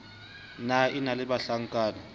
ne a na le bahlankana